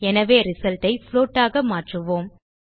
எனவே ரிசல்ட் ஐ புளோட் ஆக மாற்றுவோம்